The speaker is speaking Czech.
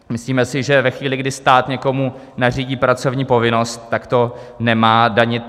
Myslíme si, že ve chvíli, kdy stát někomu nařídí pracovní povinnost, tak to nemá danit.